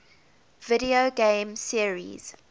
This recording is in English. video game series